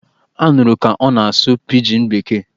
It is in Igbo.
A nụrụ ka ọ na-asụ pijin bekee!